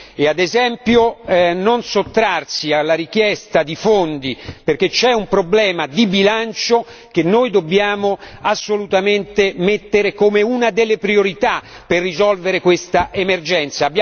e, ad esempio, non sottrarsi alla richiesta di fondi, perché c'è un problema di bilancio che noi dobbiamo assolutamente mettere come una delle priorità per risolvere questa emergenza.